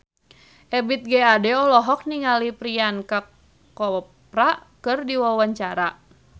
Ebith G. Ade olohok ningali Priyanka Chopra keur diwawancara